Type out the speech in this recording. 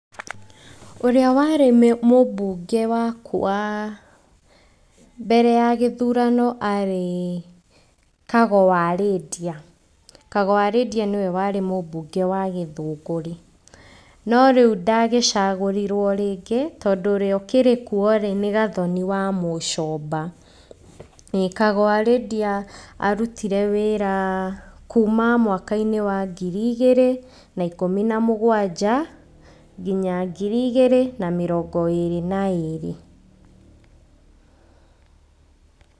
Ũrĩa warĩ mũbunge wa mbere ya gĩthurano arĩ Kago wa Lydia. Kago wa Lydia nĩwe warĩ mũbunge wa gĩthũngũri. No rĩu ndagĩcagũrirwo rĩngĩ tondũ ũrĩa ũkĩrĩ kuo rĩ, nĩ Gathoni wa Mũcomba, Kago wa Lydia arutire wĩra kuma mwaka-inĩ wa ngiri igĩrĩ na ikũmi na mũgwanja nginya ngiri igĩrĩ na mĩrongo ĩrĩ na ĩrĩ.